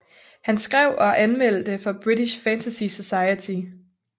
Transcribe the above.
Han skrev og anmeldte for British Fantasy Society